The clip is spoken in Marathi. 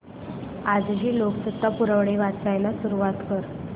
आजची लोकसत्ता पुरवणी वाचायला सुरुवात कर